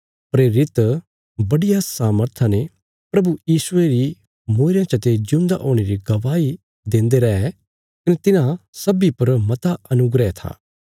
प्रेरित बड्डिया सामर्था ने प्रभु यीशुये री मूईरयां चते जिऊंदा हुणे री गवाही देन्दे रै कने तिन्हां सब्बीं पर मता अनुग्रह था